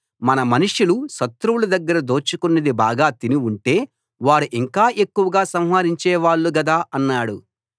మన మనుషులు శత్రువుల దగ్గర దోచుకున్నది బాగా తిని ఉంటే వారు ఇంకా ఎక్కువగా సంహరించేవాళ్ళు గదా అన్నాడు